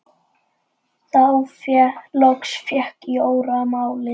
Þá loks fékk Jóra málið.